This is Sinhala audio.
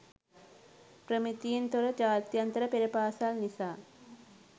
ප්‍රමිතියෙන් තොර ජාත්‍යන්තර පෙර පාසල් නිසා